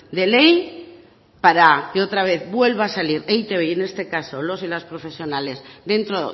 de ley para que otra vez vuelva a salir e i te be y en este caso los y las profesionales dentro